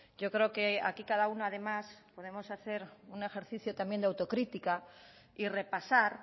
yo creo que aquí cada uno además podemos hacer un ejercicio también de autocrítica y repasar